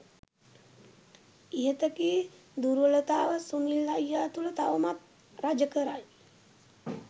ඉහත කී දුර්වලතාව සුනිල් අයියා තුළ තවමත් රජ කරයි